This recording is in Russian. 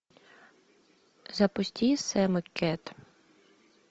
запусти сэм и кэт